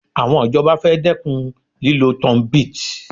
Àwọn ìjọba fẹ́ dẹ́kun lílọ tunbit